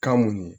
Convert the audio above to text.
Kan mun ye